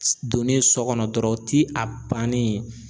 S donnen sɔ kɔnɔ dɔrɔn ti a bannen ye.